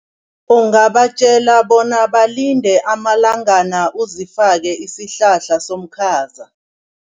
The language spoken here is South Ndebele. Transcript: Ungabatjela bona balinde amalangana uzifake isihlahla somkhaza.